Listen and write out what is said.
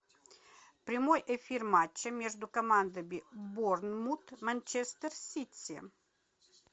прямой эфир матча между командами борнмут манчестер сити